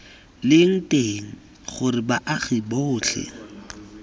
leng teng gore baagi botlhe